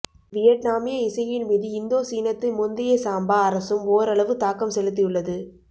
வியட்நாமிய இசையின் மீது இந்தோ சீனத்து முந்தைய சாம்பா அரசும் ஒரளவு தாக்கம் செலுத்தியுள்ளது